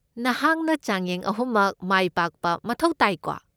ꯅꯍꯥꯛꯅ ꯆꯥꯡꯌꯦꯡ ꯑꯍꯨꯝꯃꯛ ꯃꯥꯏ ꯄꯥꯛꯄ ꯃꯊꯧ ꯇꯥꯏꯀꯣ?